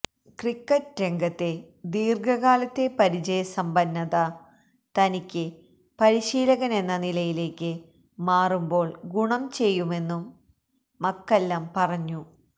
cricket രംഗത്തെ ദീര്ഘകാലത്തെ പരിചയ സമ്പന്നത തനിക്ക് പരിശീലകനെന്ന നിലയിലേക്ക് മാറുമ്പോള് ഗുണം ചെയ്യുമെന്നും മക്കല്ലം പറഞ്ഞു